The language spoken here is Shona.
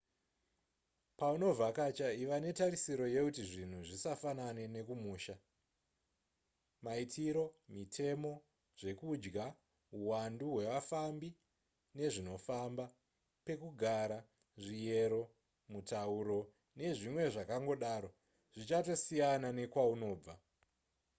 paunovhakacha iva netarisiro yekuti zvinhu zvisafanane nekumusha maitiro mitemo zvekudya huwandu wevafambi nezvinofamba pekugara zviyero mutauro nezvimwe zvakangodaro zvichatosiyana nekwaunobva